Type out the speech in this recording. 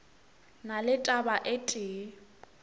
na le taba e tee